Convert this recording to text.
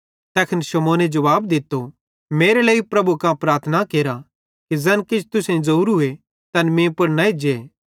तैखन शमौने जुवाब दित्तो मेरे लेइ प्रभु कां प्रार्थना केरा कि ज़ैन किछ तुसेईं ज़ोरूए तैन मीं पुड़ न एज्जे